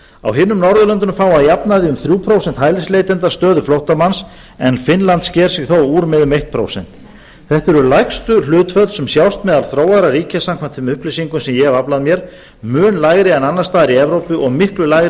á hinum norðurlöndunum fá að jafnaði um þrjú prósent hælisleitenda stöðu flóttamanns en finnland sker sig þó úr með um eitt prósent þetta eru lægstu hlutföll sem sjást bíða þróaðra ríkja samkvæmt þeim upplýsingum sem ég hef aflað mér mun lægri en annars staðar í evrópu og miklu lægri